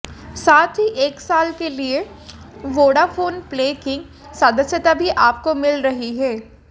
साथ ही एक साल के लिए वोडाफ़ोन प्ले की सदस्यता भी आपको मिल रही है